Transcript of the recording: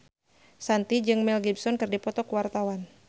Shanti jeung Mel Gibson keur dipoto ku wartawan